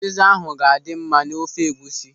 Ụziza ahụ ga-adị mma n'ofe egwusi.